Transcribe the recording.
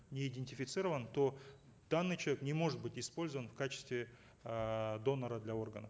не идентифицирован то данный человек не может быть использован в качестве эээ донора для органов